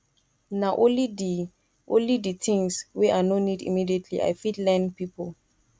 na only di only di tins wey i no need immediately i fit lend pipo